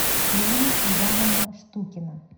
ирина ивановна штукина